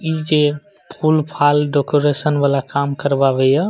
इ जे फूल-फाल डेकोरेशन वला काम करवाबे या --